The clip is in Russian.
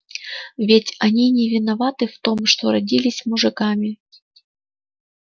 ведь они не виноваты в том что родились мужиками